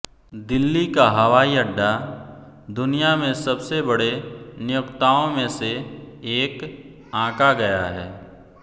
दिल्ली का हवाई अड्डा दुनिया में सबसे बड़े नियोक्ताओं में से एक आंका गया है